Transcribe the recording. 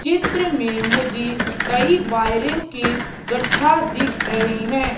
चित्र में मुझे कई वायरो के गठ्ठा दिख रहे हैं।